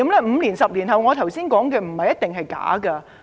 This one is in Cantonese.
5年、10年後，我剛才所說的，不一定是假的。